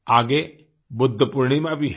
आगे बुद्ध पूर्णिमा भी है